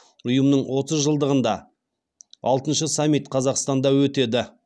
ұйымның отыз жылдығында алтыншы саммит қазақстанда өтеді